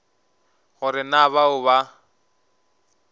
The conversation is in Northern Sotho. go re na bao ba